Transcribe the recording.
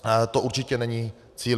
To určitě není cíl.